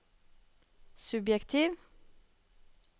subjektiv